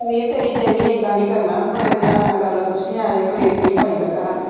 ਹੈਅ ਵੀਰ ਤੇਰੀ ਫਿਰ ਵੀ ਇਦਾ ਨੀ ਕਰਨਾ, ਬੜੇ ਧਿਆਨ ਨਾਲ ਗੱਲ ਪੁੱਛੀ ਇਵੇਂ ਕਲੇਸ਼ ਨੀ ਪਾਈਦਾ ਘਰਾਂ ਚ।